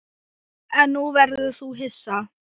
En nú verður þú hissa!